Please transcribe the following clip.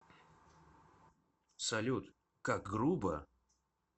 салют как грубо